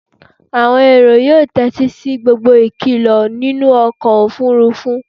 àwọn èrò yóò tétí sí gbogbo ìkìlọ nínú ọkọ̀ òfurufú